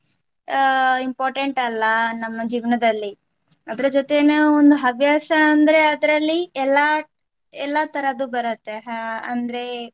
ಅಹ್ important ಅಲ್ಲ ನಮ್ಮ ಜೀವನದಲ್ಲಿ ಅದರ ಜೊತೆನೆ ಒಂದು ಹವ್ಯಾಸ ಅಂದ್ರೆ ಅದರಲ್ಲಿ ಎಲ್ಲಾ ಎಲ್ಲಾ ತರದ್ದು ಬರುತ್ತೆ ಹಾ ಅಂದ್ರೆ